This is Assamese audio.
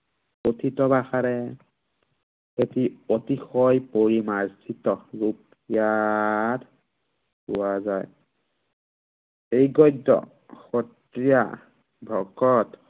কথিত ভাষাৰে এটি অতিশয় পৰিমাৰ্জিত, যত ইয়াক পোৱা যায়। এই গদ্য় সত্ৰীয়া ভকত